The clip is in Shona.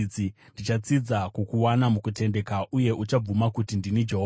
Ndichatsidza kukuwana mukutendeka, uye uchabvuma kuti ndini Jehovha.